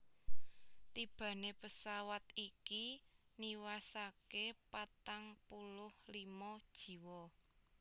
Tibané pesawat iki niwasaké patang puluh limo jiwa